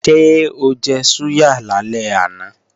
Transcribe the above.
Ṣé ó jẹ súyà lálẹ́ àná?